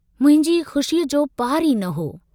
मुंहिंजी खुशीअ जो पारु ई न हो।